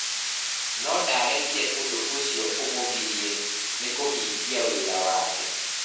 No ndaarekire ũndũ ũcio ũmũgirie nĩ kũhingia wĩra wake.